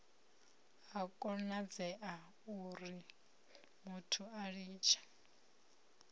a konadzea urimuthu a litshe